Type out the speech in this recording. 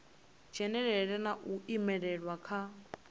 dzhenelela na u imelelwa kha